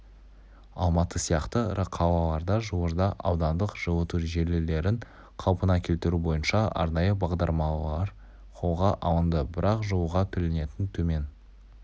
алматы сияқты ірі қалаларда жуырда аудандық жылыту желілерін қалпына келтіру бойынша арнайы бағдарламалар қолға алынды бірақ жылуға төленетін төмен